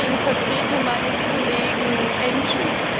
Ich spreche in Vertretung meines Kollegen Enciu.